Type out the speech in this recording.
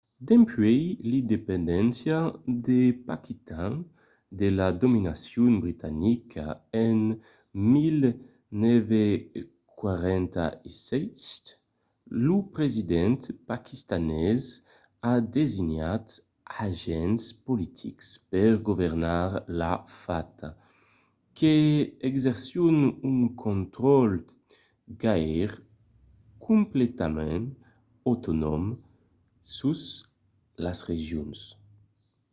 dempuèi l'independéncia de paquitan de la dominacion britanica en 1947 lo president paquistanés a designat d'agents politics per governar la fata que exercisson un contraròtle gaire completament autonòm sus las regions